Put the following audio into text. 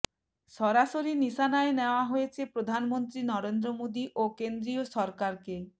সরাসরি নিশানায় নেওয়া হয়েছে প্রধানমন্ত্রী নরেন্দ্র মোদী ও কেন্দ্রীয় সরকারকে